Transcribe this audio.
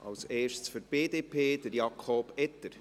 Als Erstes, für die BDP, Jakob Etter.